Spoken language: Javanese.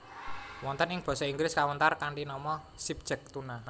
Wonten ing Basa Inggris kawentar kanthi nama skipjack tuna